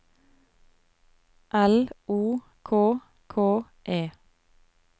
L O K K E